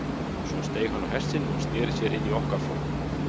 Og svo steig hann á hest sinn og sneri sér inn í okkar flokk.